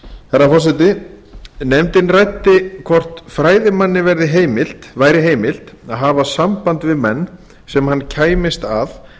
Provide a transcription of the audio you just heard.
herra forseti nefndin ræddi hvort fræðimanni væri heimilt að hafa samband við menn sem hann kæmist að